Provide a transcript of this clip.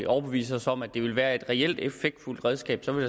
overbevise os om at det ville være et reelt effektfuldt redskab så vil